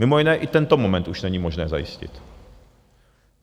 Mimo jiné i tento moment už není možné zajistit.